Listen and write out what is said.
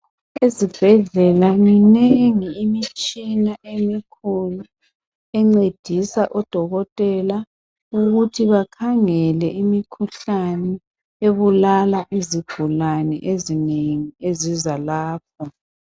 Ezibhedlela minengi imitshina emikhulu encedisa odokotela ukuthi bakhangele imikhuhlane ebulala izigulane ezinengi eziza lapho.